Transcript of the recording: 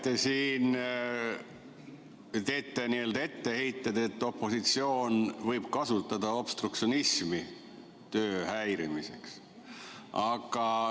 Te räägite siin, teete etteheiteid, et opositsioon võib kasutada obstruktsionismi töö häirimiseks.